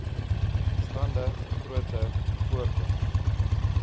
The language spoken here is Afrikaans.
stande groter voorkoms